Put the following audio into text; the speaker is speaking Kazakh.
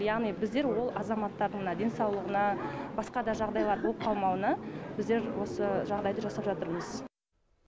яғни біздер ол азаматтардың мына денсаулығына басқа да жағдайлар болып қалмауына біздер осы жағдайды жасап жатырмыз